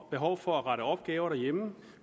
behov for at rette opgaver derhjemme